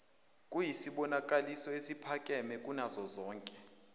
iyisibonakaliso esiphakeme kunazozonke